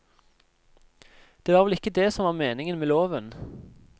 Det var vel ikke det som var meningen med loven.